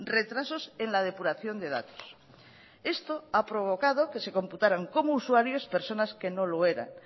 retrasos en la depuración de datos esto ha provocado que se computaran como usuarios personas que no lo eran